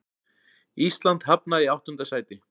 Ísland hafnaði í áttunda sæti